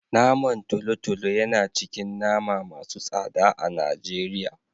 Naman tolotolo yana cikin nama masu tsada a Najeriya.